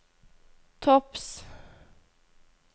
topps